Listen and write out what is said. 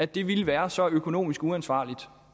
det ville være så økonomisk uansvarligt